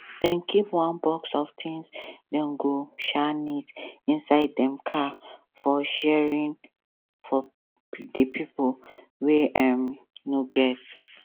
dem keep one box of things dem go um need inside dem car for share for di pipo wey um no get